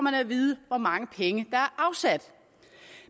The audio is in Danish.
at vide hvor mange penge er afsat